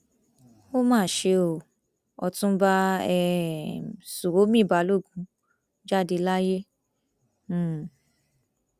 ó mà ṣe o ọtúnba um ṣuomi balógun jáde láyé um